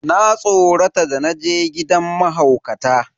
Na tsorata da naje gidan mahaukata.